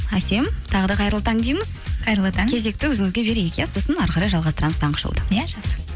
әсем тағы да қайырлы таң дейміз қайырлы таң кезекті өзіңізге берейік иә сосын әрі қарай жалғастырамыз таңғы шоуды иә